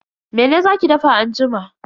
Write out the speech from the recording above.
Mene za ki dafa anjima?